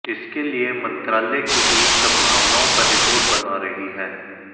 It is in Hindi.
इसके लिए मंत्रालय की टीम संभावनाओं पर रिपोर्ट बना रही है